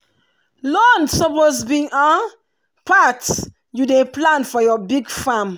loan suppose be part you dey plan for your big farm